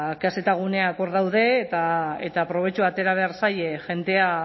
kzguneak hor daude eta probetxua atera behar zaie jendea